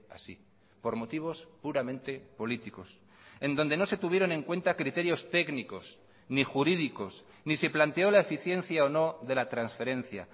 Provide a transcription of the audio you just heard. así por motivos puramente políticos en donde no se tuvieron en cuenta criterios técnicos ni jurídicos ni se planteo la eficiencia o no de la transferencia